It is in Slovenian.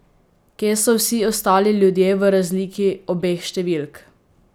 Kje so vsi ostali ljudje v razliki obeh številk?